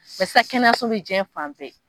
Bɛsa kɛnɛyaso bɛ diɲɛ fan bɛ.